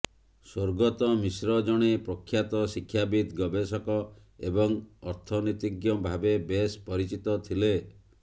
ସ୍ୱର୍ଗତ ମିଶ୍ର ଜଣେ ପ୍ରଖ୍ୟାତ ଶିକ୍ଷାବିତ୍ ଗବେଷକ ଏବଂ ଅର୍ଥନୀତିଜ୍ଞ ଭାବେ ବେଶ୍ ପରିଚିତ ଥିଲେ